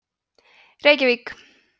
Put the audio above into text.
reykjavík